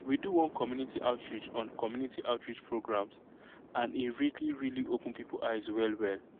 we do one community outreach on community outreach programs and e really really open people eyes well well